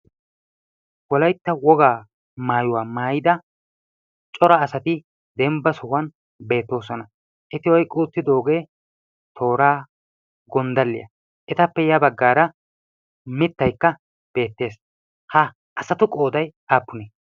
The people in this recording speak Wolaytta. Wolaytta wogaa maayuwa maayida cora asati dembba sohuwan beettoosona. Eti oyqqi uttidoogee tooraa, gonddalliya. Etappe ya baggaara mittaykka beettes. Ha asatu qoodayi aappunee?